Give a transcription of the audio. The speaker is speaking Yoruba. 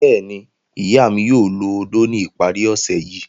Bẹ́ẹ̀ni, iya mi yoo lo ódó ni ipari ose yii